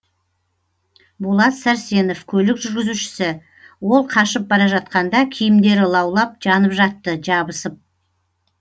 болат сәрсенов көлік жүргізушісі ол қашып бара жатқанда киімдері лаулап жанып жатты жабысып